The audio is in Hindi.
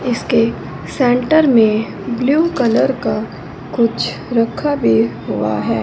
इसके सेंटर में ब्लू कलर का कुछ रखा भी हुआ है।